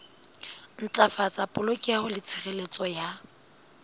ntlafatsa polokeho le tshireletso ya